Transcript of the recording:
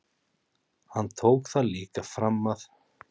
Hann tók það líka fram að